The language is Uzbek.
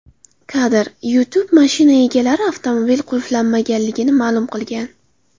Kadr: YouTube Mashina egalari avtomobil qulflanmaganligini ma’lum qilgan.